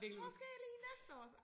Måske lige næste år